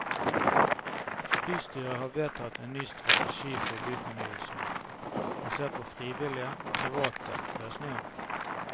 Bystyret har vedtatt en ny strategi for byfornyelsen, basert påfrivillige og private løsninger.